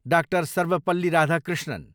डा. सर्वपल्ली राधाकृष्णन